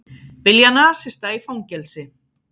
Vilja nasista í fangelsi